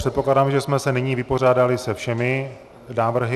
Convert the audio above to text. Předpokládám, že jsme se nyní vypořádali se všemi návrhy.